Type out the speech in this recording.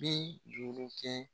Bi duuru kɛ